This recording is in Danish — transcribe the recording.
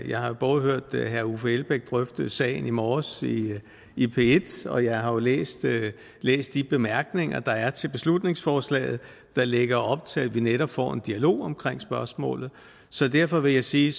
jeg har både hørt herre uffe elbæk drøfte sagen i morges i p1 og jeg har jo læst læst de bemærkninger der er til beslutningsforslaget der lægger op til at vi netop får en dialog omkring spørgsmålet så derfor vil jeg sige